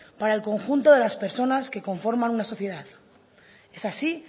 para el conjunto de las personas que conforman una sociedad es así